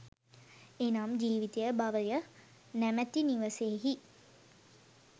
එනම් ජීවිතය භවය නමැති නිවසෙහි